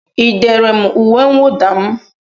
Ị dere m uwe mwuda m?